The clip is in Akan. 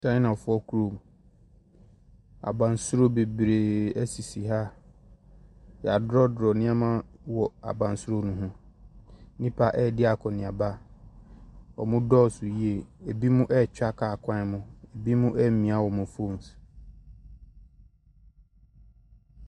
Kyaina foɔ kurom. Abansoro bebree ɛsisi ha. Yadrɔdrɔ nne3ma wɔ abansoro no ho. nnipa ɛɛdi akɔneaba. Ɔmo dɔɔso yie. Ebi mo 33twa kaa kwan mu. Ebi mo ɛɛmia ɔmo fon so.